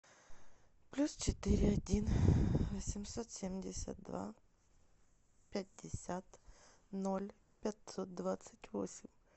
плюс четыре один восемьсот семьдесят два пятьдесят ноль пятьсот двадцать восемь